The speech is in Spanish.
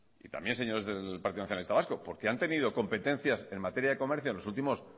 y también señores del partido nacionalista vasco porque han tenido competencia en materias de comercio en los últimos